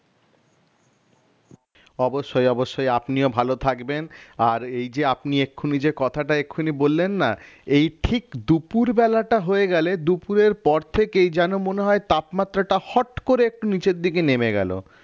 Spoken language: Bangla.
অবশ্যই অবশ্যই আপনিও ভালো থাকবেন আর এই যে আপনি এক্ষুনি যে কথাটা এক্ষুনি বললেন না এই ঠিক দুপুরবেলাটা হয়ে গেলে দুপুরের পর থেকেই যেন মনে হয় তাপমাত্রাটা হট করে একটু নিচের দিকে নেমে গেল